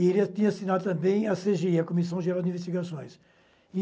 E ele tinha assinado também a cê gê i, a Comissão Geral de Investigações.